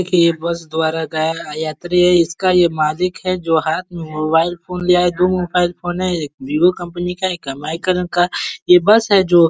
बस द्वारा गया यात्री है। इसका यह मालिक है जो हाथ में मोबाइल फ़ोन लिया है और दो मोबाइल फ़ोन है। एक विवो कम्पनी का है एक एम ई कलर का। यह बस है जो --